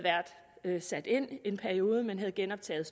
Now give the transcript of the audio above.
været sat ind i en periode men havde genoptaget